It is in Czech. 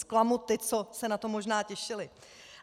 Zklamu ty, co se na to možná těšili.